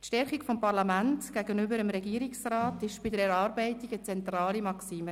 Die Stärkung des Parlaments gegenüber dem Regierungsrat war bei der Erarbeitung eine zentrale Maxime.